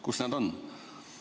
Kus see on?